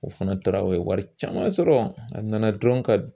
U fana taara u ye wari caman sɔrɔ a nana dɔrɔn ka